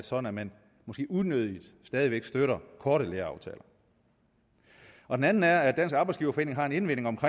sådan at man måske unødigt stadig væk støtter korte læreaftaler den anden er at dansk arbejdsgiverforening har en indvending